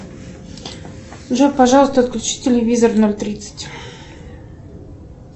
джой пожалуйста отключи телевизор в ноль тридцать